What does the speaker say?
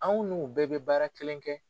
Anw n'u bɛɛ bɛ baara kelen kɛ